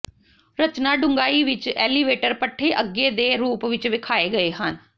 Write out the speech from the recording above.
ਰਚਨਾ ਡੂੰਘਾਈ ਵਿੱਚ ਐਲੀਵੇਟਰ ਪੱਠੇ ਅੱਗੇ ਦੇ ਰੂਪ ਵਿੱਚ ਵੇਖਾਏ ਗਏ ਹਨ